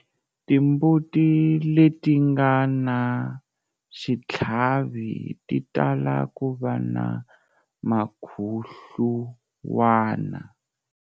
Timbuti leti nga na xitlhavi ti tala ku va na mukhuhluwana.